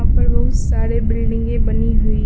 ऊपर बहुत सारे बिल्डिंगे बनी हुई है।